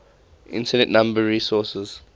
internet number resources